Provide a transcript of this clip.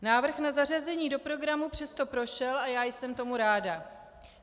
Návrh na zařazení do programu přesto prošel a já jsem tomu ráda.